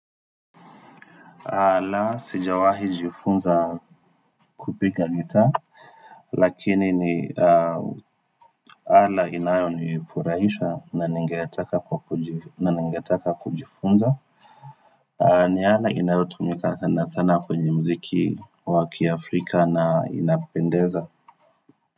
La, sijawahi jifunza kupika lita lakini ni ala inayonifurahisha na ningetaka kujifunza. Ni ala inayotumika sana sana kwenye mziki wa kiafrika na inapendeza.